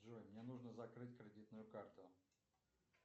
джой мне нужно закрыть кредитную карту